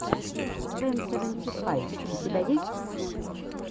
пэн сэвэнти файв у тебя есть